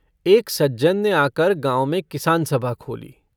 एक सज्जन ने आकर गाँव में किसान सभा खोली।